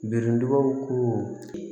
Birintubaw ko